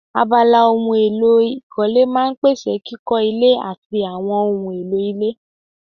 Abala ohun èlò ìkọ́lé máa n pèsè kíkọ́ ilé àti àwọn ohun èlò ilé